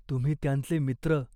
तुम्ही त्यांचे मित्र.